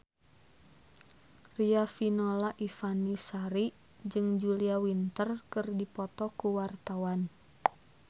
Riafinola Ifani Sari jeung Julia Winter keur dipoto ku wartawan